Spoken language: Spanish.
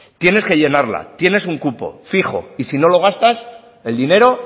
tienes que llenarla tienes un cupo fijo y si no lo gastas el dinero